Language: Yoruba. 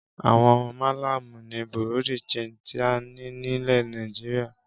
Àwọn Málámù ni Bureau de change tí a ní nílẹ̀ Nàìjíríà.